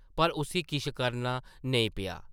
पर उस्सी किश करना नेईं पेआ ।